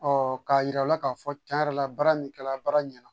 k'a jira u la k'a fɔ tiɲɛ yɛrɛ la baara min kɛra baara ɲɛna